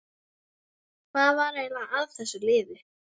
Hvað var eiginlega að þessu liði?